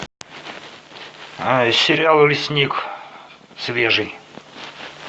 сериал лесник свежий